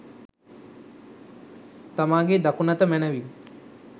තමාගේ දකුණත මැනවින්